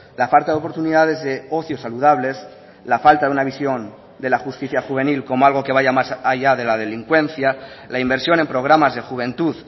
la falta de oportunidades de ocio saludables la falta de una visión de la justicia juvenil como algo que vaya más allá de la delincuencia la inversión en programas de juventud